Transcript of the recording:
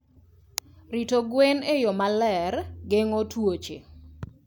Rito gwen e yo maler geng'o tuoche.